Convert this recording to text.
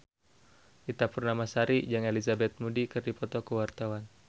Ita Purnamasari jeung Elizabeth Moody keur dipoto ku wartawan